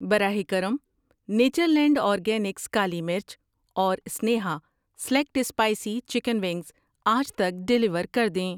براہ کرم، Natureland Organics کالی مرچ اور Sneha select spicy chicken wings آج تک ڈیلیور کر دیں۔